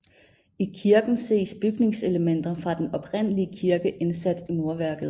I kirken ses bygningselementer fra den oprindelige kirke indsat i murværket